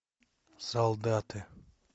солдаты